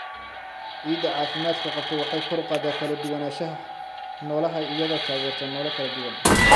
Ciidda caafimaadka qabta waxay kor u qaadaa kala duwanaanshaha noolaha iyadoo taageerta noole kala duwan.